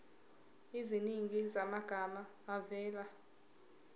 eziningi zamagama avela